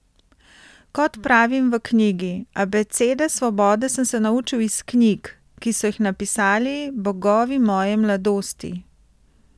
Kot pravim v knjigi, abecede svobode sem se naučil iz knjig, ki so jih napisali bogovi moje mladosti.